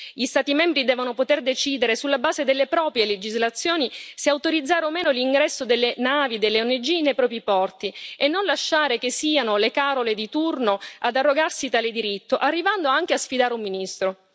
Gli Stati membri devono poter decidere, sulla base delle proprie legislazioni, se autorizzare o meno l'ingresso delle navi delle ONG nei propri porti e non lasciare che siano le Carole di turno ad arrogarsi tale diritto, arrivando anche a sfidare un ministro.